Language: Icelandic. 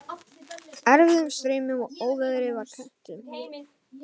Erfiðum straumum og óveðri var kennt um.